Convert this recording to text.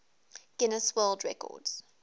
guinness world records